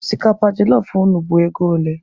Osikapa jelọf unu bụ ego ole?